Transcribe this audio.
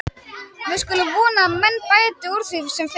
Við skulum vona að menn bæti úr því sem fyrst.